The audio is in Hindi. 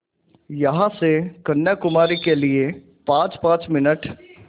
यहाँ से कन्याकुमारी के लिए पाँचपाँच मिनट